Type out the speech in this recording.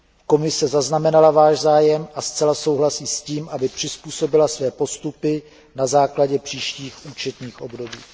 Komise zaznamenala Váš zájem a zcela souhlasí s tím, aby přizpůsobila své postupy na základě příštích účetních období.